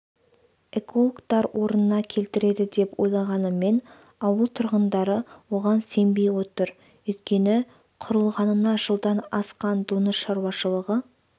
экологтар орнына келтіреді деп ойлағанымен ауыл тұрғындары оған сенбей отыр өйткені құрылғанына жылдан асқан доңыз шаруашылығы